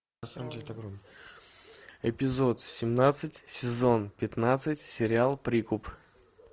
эпизод семнадцать сезон пятнадцать сериал прикуп